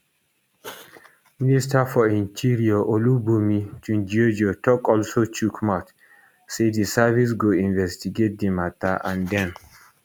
minister for interior olubunmi tunjiojo tok also chook mouth say di service go investigate di matta and dem